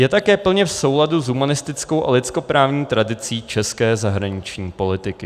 Je také plně v souladu s humanistickou a lidskoprávní tradicí české zahraniční politiky.